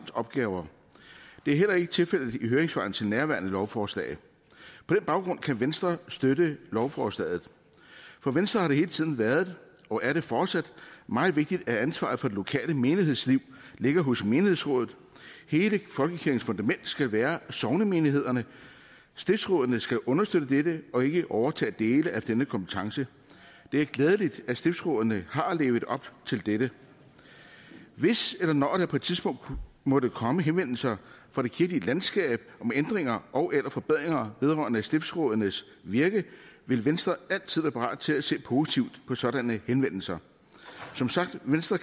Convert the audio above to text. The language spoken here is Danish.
opgaver det er heller ikke tilfældet i høringssvarene til nærværende lovforslag på den baggrund kan venstre støtte lovforslaget for venstre har det hele tiden været og er det fortsat meget vigtigt at ansvaret for det lokale menighedsliv ligger hos menighedsrådet hele folkekirkens fundament skal være sognemenighederne stiftsrådene skal understøtte dette og ikke overtage dele af denne kompetence det er glædeligt at stiftsrådene har levet op til dette hvis eller når der på et tidspunkt måtte komme henvendelser fra det kirkelige landskab om ændringer ogeller forbedringer vedrørende stiftsrådenes virke vil venstre altid være parat til at se positivt på sådanne henvendelser som sagt kan venstre